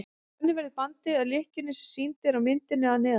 þannig verður bandið að lykkjunni sem sýnd er á myndinni að neðan